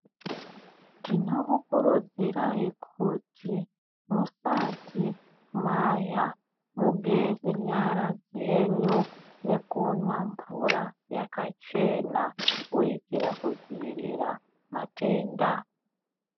Tinokukurudzirai kuti musati marya mugeze nyara dzenyu nekumwa mvura yakachena kuitira kudzivirira matenda.